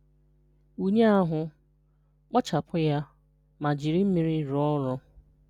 Nwụnye ahụ, kpochapụ ya, ma jiri mmiri rụọ ọrụ.